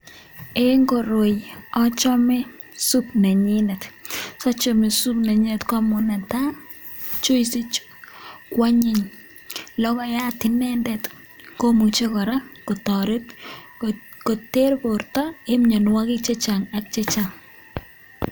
Eng koroi achame sup nenyinet, so chome sup nenyinet ko amun netai, juice ichu kwanyiny, logoiyat inendet komuche kora koter borta en mionwogik che chang ak che chang.